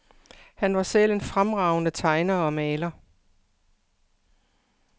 Han var selv en fremragende tegner og maler.